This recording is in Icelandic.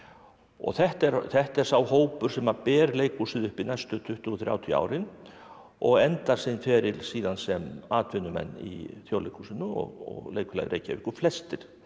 þetta er þetta er sá hópur sem ber leikhúsið uppi næstu tuttugu til þrjátíu árin og endar sinn feril síðan sem atvinnumenn í Þjóðleikhúsinu og Leikfélagi Reykjavíkur flestir